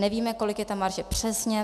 Nevíme, kolik je ta marže přesně.